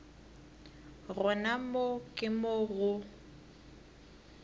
gona moo ke mo go